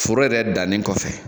Foro yɛrɛ dannen kɔfɛ